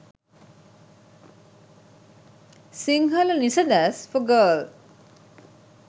sinhala nisades for girl